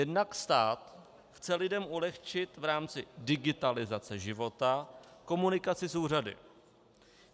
Jednak stát chce lidem ulehčit v rámci digitalizace života komunikaci s úřady.